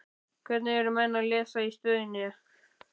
Hvernig eru menn að lesa í stöðuna?